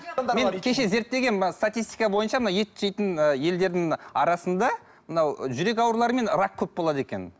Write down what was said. мен кеше зерттегенмін мына статистика бойынша мына ет жейтін ы елдердің арасында мынау жүрек аурулары мен рак көп болады екен